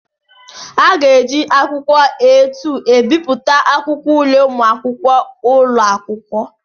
Aga eji akwụkwọ A2 ebipụta akwụkwọ ule ụmụakwụkwọ ụlọ akwụkwọ.